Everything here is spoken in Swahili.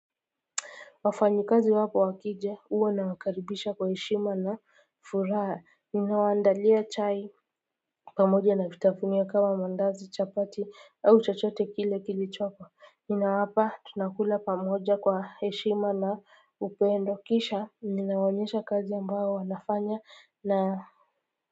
Wafanyi kazi wako wakija huwa na wakaribisha kwa heshima na furaha ninawaandalia chai pamoja na vitapunia kama mandazi chapati au chachote kile kilichoko ninawapa tunakula pamoja kwa heshima na upendo kisha ninawaonyesha kazi ambayo wanafanya na.